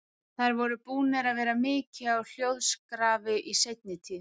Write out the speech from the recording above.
Þær voru búnar að vera mikið á hljóðskrafi í seinni tíð.